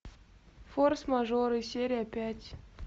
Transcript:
форс мажоры серия пять